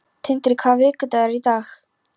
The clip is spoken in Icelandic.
Tindri, hvaða vikudagur er í dag?